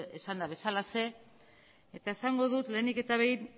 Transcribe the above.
esanda bezalaxe eta esango dut lehenik eta behin